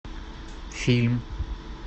фильм